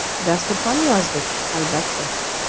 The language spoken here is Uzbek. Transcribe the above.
“Dasturxon yozdik, albatta.